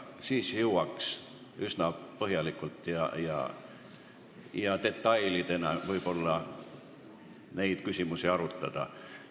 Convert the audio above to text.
Siis jõuaks üsna põhjalikult ja vahest ka detailideni küsimusi arutada.